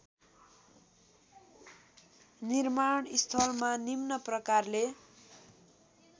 निर्माणस्थलमा निम्न प्रकारले